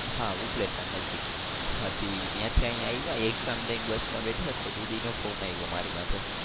હા ઉપલેટા ના હા તે ત્યાંથી અહિયાં આવ્યા exam દઈને બસમાં બેઠા તો દીદી નો ફોન આવ્યો મારી માથે.